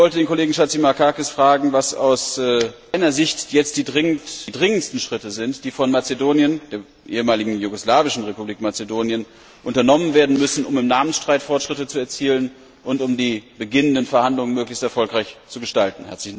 Ich wollte den Kollegen Chatzimarkakis fragen, was aus seiner Sicht jetzt die dringendsten Schritte sind, die von der ehemaligen jugoslawischen Republik Mazedonien unternommen werden müssen, um im Namensstreit Fortschritte zu erzielen und um die beginnenden Verhandlungen möglichst erfolgreich zu gestalten.